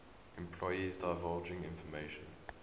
employees divulging information